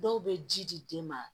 Dɔw bɛ ji di den ma